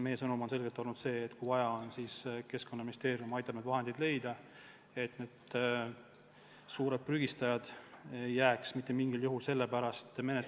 Meie sõnum on selgelt olnud see, et kui vaja, siis Keskkonnaministeerium aitab selle raha leida, et suured prügistajad ei jääks mitte mingil juhul karistamata.